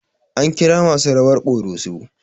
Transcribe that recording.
An kira masu rawar ƙoroso